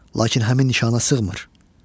Lakin həmin nişana sığmır.